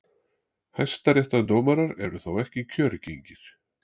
Hæstaréttardómarar eru þó ekki kjörgengir.